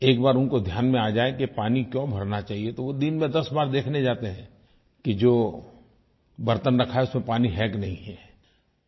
एक बार उनको ध्यान में आ जाए कि ये पानी क्यों भरना चाहिये तो वो दिन में 10 बार देखने जाते हैं कि जो बर्तन रखा है उसमें पानी है कि नहीं है